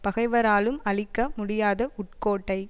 பகைவராலும் அழிக்க முடியாத உட்கோட்டை